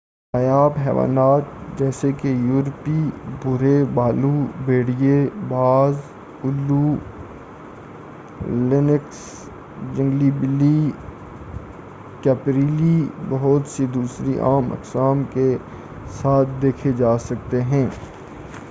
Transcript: نایاب حیوانات جیسے کہ یورپی بھورے بھالو بھیڑیے باز الو لینکس جنگلی بلی اور کیپریلی بہت سے دوسرے عام اقسام کے ساتھ دیکھے جا سکتے ہیں